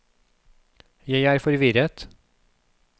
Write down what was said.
jeg er forvirret